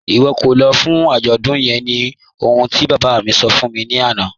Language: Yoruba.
Iwọ kò lọ́ fún ajọ́dún yẹ̀n ní ọ̀hun ti baba mi sọ̀ fún mi lana